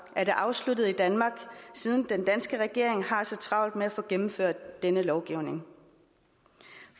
er det afsluttet i danmark siden den danske regering har så travlt med at få gennemført denne lovgivning